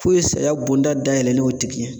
K'o ye saya bonda dayɛlen y'o tigi ye